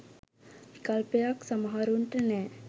විකල්පයක් සමහරුන්ට නෑ.